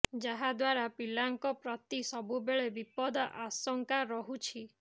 ଯାହା ଦ୍ୱାରା ପିଲାଙ୍କ ପ୍ରତି ସବୁବେଳେ ବିପଦ ଆଶଙ୍କା ରହୁଛି